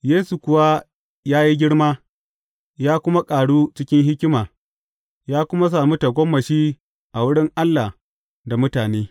Yesu kuwa ya yi girma, ya kuma ƙaru cikin hikima, ya kuma sami tagomashi a wurin Allah da mutane.